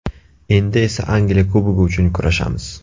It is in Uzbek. Endi esa Angliya Kubogi uchun kurashamiz!